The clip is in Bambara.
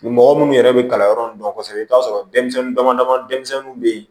Ni mɔgɔ minnu yɛrɛ bɛ kalanyɔrɔ nun dɔn kosɛbɛ i bɛ t'a sɔrɔ denmisɛnnin dama dama denmisɛnninw bɛ yen